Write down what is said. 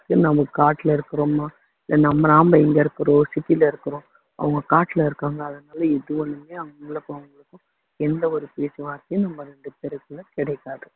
நம்ம காட்டுல இருக்குறோமா இல்ல நம்ம நாம இங்க இருக்குறோம் city ல இருக்குறோம் அவங்க காட்டுல இருக்காங்க அதனால அவங்களுக்கும் அவங்களுக்கும் எந்த ஒரு பேச்சு வாத்தையுமே நம்ம ரெண்டு பேருக்குள்ள கிடைக்காது